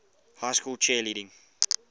high school cheerleading